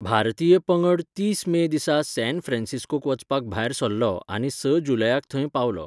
भारतीय पंगड तीस मे दिसा सॅन फ्रांसिस्कोक वचपाक भायर सरलो आनी स जुलयाक थंय पावलो.